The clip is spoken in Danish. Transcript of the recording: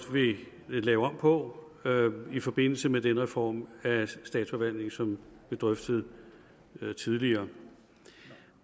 vil lave om på i forbindelse med den reform af statsforvaltningen som blev drøftet tidligere